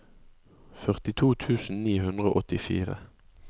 førtito tusen ni hundre og åttifire